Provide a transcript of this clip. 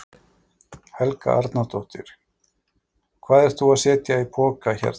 Helga Arnardóttir: Hvað ert þú að setja í poka hérna?